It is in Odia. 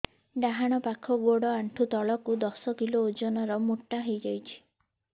ଡାହାଣ ପାଖ ଗୋଡ଼ ଆଣ୍ଠୁ ତଳକୁ ଦଶ କିଲ ଓଜନ ର ମୋଟା ହେଇଯାଇଛି